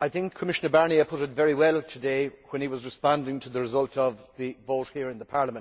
I think Commissioner Barnier put it very well today when he was responding to the result of the vote here in Parliament.